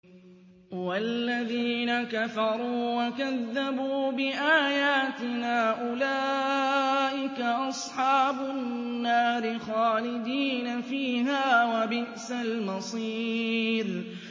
وَالَّذِينَ كَفَرُوا وَكَذَّبُوا بِآيَاتِنَا أُولَٰئِكَ أَصْحَابُ النَّارِ خَالِدِينَ فِيهَا ۖ وَبِئْسَ الْمَصِيرُ